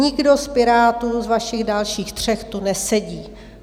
Nikdo z Pirátů z vašich dalších tří tu nesedí.